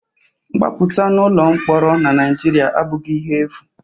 Mgbapụta n'ụlọ mkpọrọ na Naịjirịa abụghị ihe efu